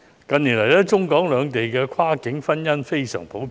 近年來，中港兩地的跨境婚姻十分普遍。